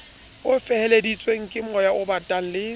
o feleheditsweng kemoya obatang le